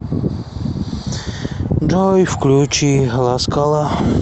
джой включи ласкала